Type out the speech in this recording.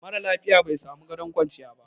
mara lafiya bai samu gadon kwanciya ba